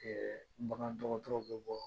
bagan dɔgɔtɔrɔ bɛ bɔ